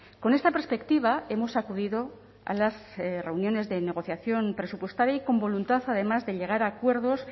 con esta perspectiva hemos acudido a las reuniones de negociación presupuestaria y con voluntad además de llegar a acuerdos